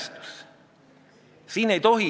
Lugupeetud ettekandja!